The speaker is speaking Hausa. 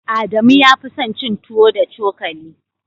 Adamu ya fi son cin tuwo da cokali.